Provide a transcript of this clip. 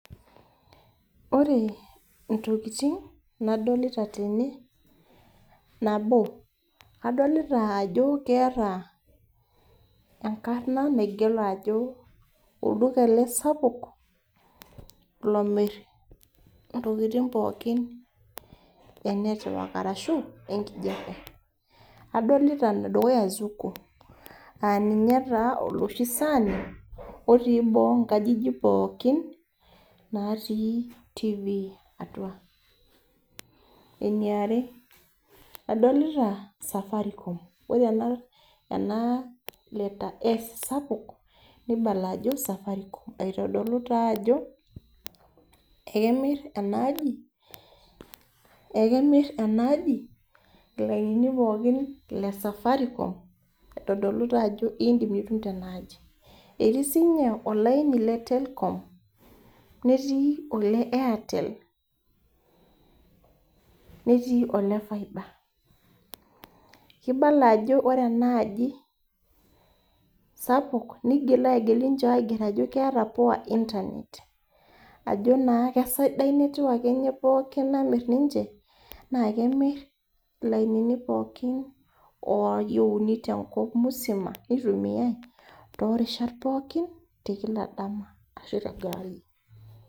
Ore intokiting nadolita tene, nabo, adolita ajo keeta enkarna naigero ajo olduka ele sapuk, lomir intokiting pookin enetiwak, arashu enkijape. Adolita enedukuya Zuku. Aninye taa oloshi saani, otii boo inkajijik pookin, natii Tv atua. Eniare, adolita Safaricom. Ore ena letter s sapuk, nibala ajo Safaricom. Aitodolu taa ajo, ekemir enaaji, ekemir enaaji, ilainini pookin le Safaricom, aitodolu tajo idim nitum tenaaji. Etii sinye olaini le Telkom, netii ole Airtel, netii ole fiber. Kibala ajo ore enaaji sapuk, nigila agil ninche aiger ajo keeta poa Internet. Ajo naa kasadai netwak enye pookin namir ninche, naa kemir ilainini pookin oyieuni tenkop musima, nitumiai torishat pookin, tekila dama ashu tenkewarie.